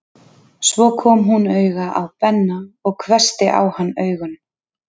Svo kom hún auga á Benna og hvessti á hann augun.